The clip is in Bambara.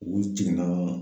U jiginna